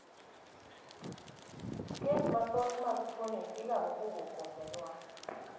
Kes mathoth mag tuoni igamo kowuok kuom janyuol.